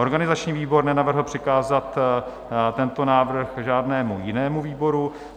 Organizační výbor nenavrhl přikázat tento návrh žádnému jinému výboru.